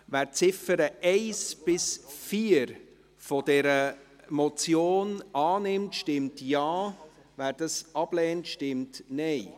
Wer die Ziffern 1–4 der Motion annimmt, stimmt Ja, wer dies ablehnt, stimmt Nein.